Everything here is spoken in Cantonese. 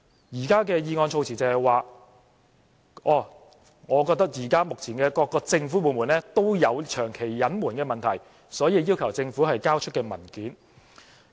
現在的議案措辭是，他認為目前各個政府部門也有長期隱瞞的問題，所以要求政府交出文件。